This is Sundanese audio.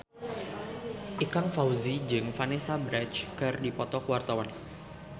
Ikang Fawzi jeung Vanessa Branch keur dipoto ku wartawan